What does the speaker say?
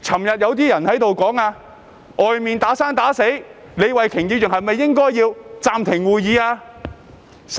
有些議員昨天說外面"打生打死"，李慧琼議員是否應該暫停會議？